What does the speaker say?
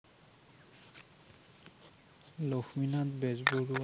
Lakshminath Bezbaroa